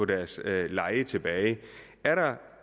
deres leje tilbage er der